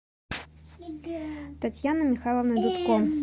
татьяны михайловны дудко